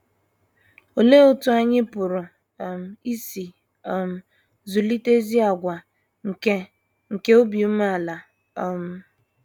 Olee otú anyị pụrụ um isi um zụlite ezi àgwà nke nke obi umeala? um